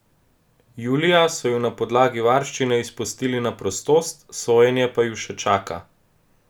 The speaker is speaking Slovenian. Julija so ju na podlagi varščine izpustili na prostost, sojenje pa ju še čaka.